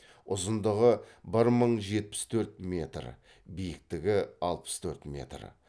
ұзындығы бір мың жетпіс төрт метр биіктігі алпыс төрт метр